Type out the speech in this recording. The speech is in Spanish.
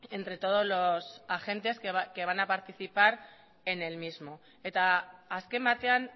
entre todos los agentes que van a participar en el mismo eta azken batean